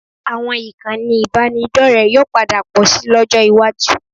Àwọn ìkànnì ìbánidọ́rẹ̀ẹ́ yóò padà pọ̀ síi lọ́jọ́ iwájú